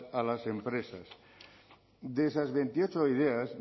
a las empresas de esas veintiocho ideas